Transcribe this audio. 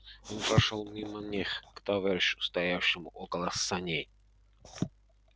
он прошёл мимо них к товарищу стоявшему около саней